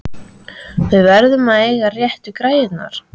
Við verðum að eiga réttu græjurnar!